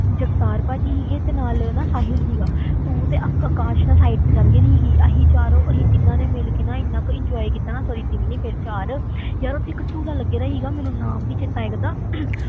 ਜਗਤਾਰ ਭਾਜੀ ਸੀਗੇ ਤੇ ਨਾਲ ਹਨਾ ਸਾਹਿਲ ਸੀਗਾ ਤੂੰ ਤੇ ਅਕ~ ਅਕਾਸ਼ ਨਾਲ site ਤੇ ਚਲੇ ਗਈ ਸੀਗੀ, ਅਸੀਂ ਚਾਰੋਂ ਅਸੀਂ ਤਿੰਨਾਂ ਨੇ ਮਿਲ ਕੇ ਨਾ ਇੰਨਾ ਕੁ enjoy ਕੀਤਾ ਨਾ sorry ਤਿੰਨ ਨੀ ਸੀ ਚਾਰ ਯਾਰ ਉੱਥੇ ਇੱਕ ਝੂਲਾ ਲੱਗਿਆ ਸੀਗਾ ਮੈਨੂੰ ਨਾਮ ਨੀ ਚੇਤਾ ਆਇਆ ਕਰਦਾ